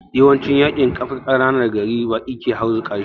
Yawancin yaƙin ƙananan gari baƙi ke harzuƙa shi